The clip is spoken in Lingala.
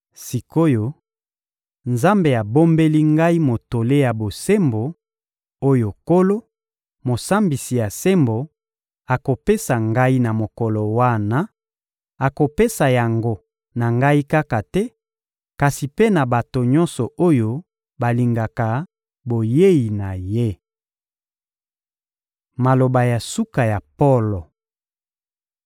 Sik’oyo, Nzambe abombeli ngai motole ya bosembo, oyo Nkolo, Mosambisi ya sembo, akopesa ngai na mokolo wana: akopesa yango na ngai kaka te, kasi mpe na bato nyonso oyo balingaka boyei na Ye. Maloba ya suka ya Polo